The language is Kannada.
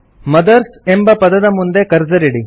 ಮದರ್ಸ್ ಎಂಬ ಪದದ ಮುಂದೆ ಕರ್ಸರ್ ಇಡಿ